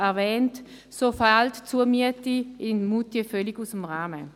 Vergleicht man die Preise, fällt die Zumiete in Moutier völlig aus dem Rahmen.